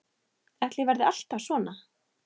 Ætli ég verði alltaf svona?